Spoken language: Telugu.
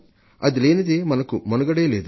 అది లేనిదే మనకు మనుగడే లేదు